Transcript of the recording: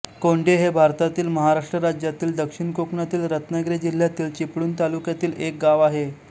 कोंढे हे भारतातील महाराष्ट्र राज्यातील दक्षिण कोकणातील रत्नागिरी जिल्ह्यातील चिपळूण तालुक्यातील एक गाव आहे